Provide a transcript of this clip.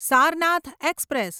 Sarnath express